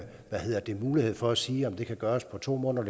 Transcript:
lave den mulighed for at sige om det kan gøres på to måneder